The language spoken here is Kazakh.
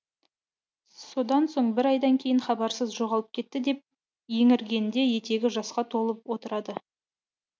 содан соң бір айдан кейін хабарсыз жоғалып кетті деп еңіргенде етегі жасқа толып отырады